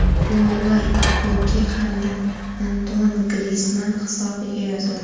Gollar Koke hamda Antuan Grizmann hisobiga yozildi.